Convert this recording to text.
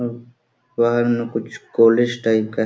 झ्व बहार मै कुछ कॉलेज टाइप का है।